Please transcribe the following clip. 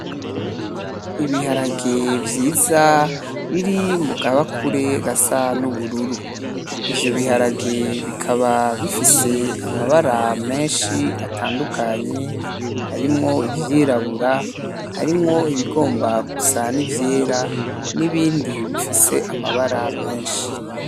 Ibiharage vyiza biri mu kabakure gasa n'ubururu. Ivyo biharage bikaba bifise amabara menshi atandukanye, harimwo ivyirabura harimwo ibigomba gusa n'ivyera n'ibindi bifise amabara menshi.